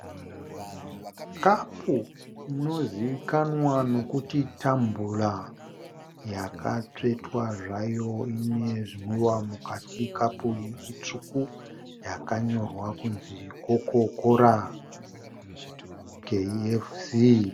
Kapu inozivikanwa nokuti tambura yakatsvetwa zvayo ine zvinwiwa mukati kapu iyi itsvuku yakanyorwa kuti Coca Cola KFC.